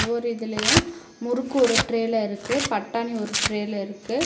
ஒவ்வொரு இதுலயு முறுக்கு ஒரு ட்ரேல இருக்கு பட்டாணி ஒரு ட்ரேல இருக்கு.